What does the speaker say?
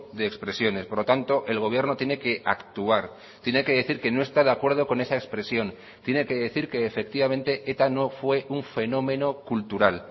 de expresiones por lo tanto el gobierno tiene que actuar tiene que decir que no está de acuerdo con esa expresión tiene que decir que efectivamente eta no fue un fenómeno cultural